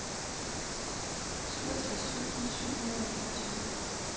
syvogtres tusind syv hundrede og enogtyve